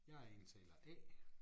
Jeg er indtaler A